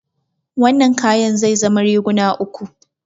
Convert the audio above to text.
Wannan kayan zai zama riguna uku.